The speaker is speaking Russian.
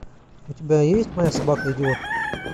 у тебя есть моя собака идиот